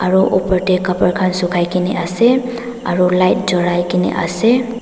kor opor dae kabra kan sukai kina ase aro light julai kina ase.